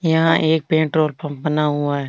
यहाँ एक petrol pump बना हुआ है।